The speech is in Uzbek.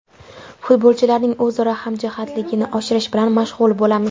Futbolchilarning o‘zaro hamjihatligini oshirish bilan mashg‘ul bo‘lamiz.